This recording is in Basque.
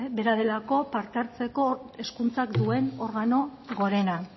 bera delako parte hartzeko hezkuntzak duen organo gorena